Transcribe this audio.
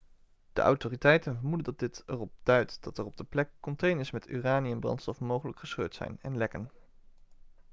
de autoriteiten vermoeden dat dit erop duidt dat er op de plek containers met uraniumbrandstof mogelijk gescheurd zijn en lekken